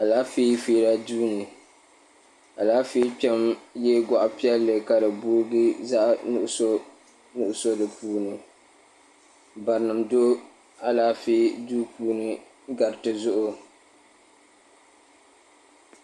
Alaafee feera duu ni alaafee kpɛra ye gɔɣ'piɛlli ka di boogi zaɣ'nuɣuso nuɣuso di puuni barinima do alaafee duu puuni gariti zuɣu.